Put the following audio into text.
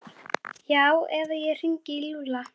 Já eða ég hringi í Lúlla.